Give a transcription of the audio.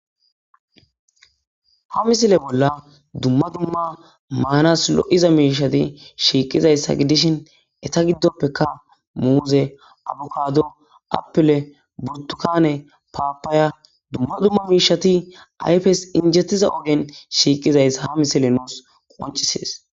ha misile bolla dumma dumma maanas lo7iza miishati shiiqizayssa gidishin eta giddoppeka muuze abukado appile budukane paapaaya dumma dumma miishati ayfes injettiza ogen shiiqizayssa ha misile nuus qoncisees